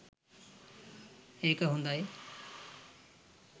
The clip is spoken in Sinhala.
ඒක හොඳයි